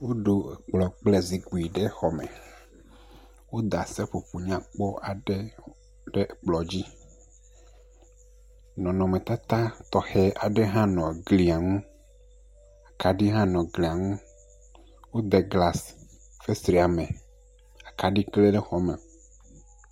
Woɖo kplɔ kple zikpui ɖe xɔme. Woɖa seƒoƒo nyakpɔ aɖe ɖe kplɔ dzi. Nɔnɔme tata tɔxe ɖe hã nɔ gli ŋu. kaɖi hã nɔ gli ŋu. Wode glas fesrẽa me. Akaɖi klẽ ɖe xɔa me.